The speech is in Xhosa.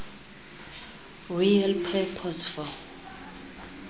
real purpose for